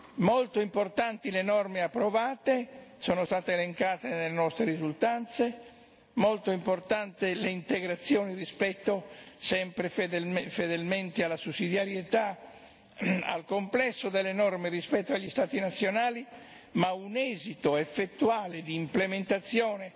Sono molto importanti le norme approvate sono state elencate nelle nostre risultanze è molto importante l'integrazione sempre fedelmente della sussidiarietà del complesso delle norme rispetto agli Stati nazionali, ma un esito effettuale d'implementazione